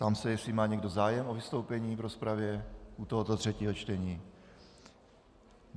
Ptám se, jestli má někdo zájem o vystoupení v rozpravě u tohoto třetího čtení.